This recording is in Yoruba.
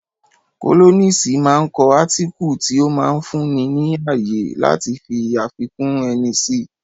Kólọ́nisi máa ń kọ átíkù tí ó máa ń fún ni ní ààyè láti fi àfikún ẹni si